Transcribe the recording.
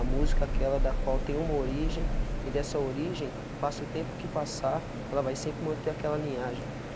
A música aquela da qual tem uma origem e dessa origem passa o tempo que passar, ela vai sempre manter aquela linhagem.